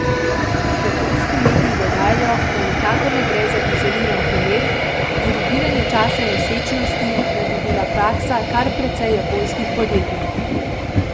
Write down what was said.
Japonski mediji dodajajo, da nikakor ne gre za izoliran primer, dirigiranje časa nosečnosti naj bi bila praksa kar precej japonskih podjetij.